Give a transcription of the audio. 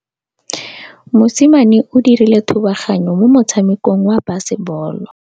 Mosimane o dirile thubaganyô mo motshamekong wa basebôlô.